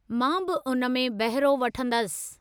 मां बि उन में बहिरो वठंदसि।